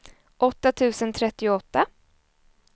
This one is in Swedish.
åtta tusen trettioåtta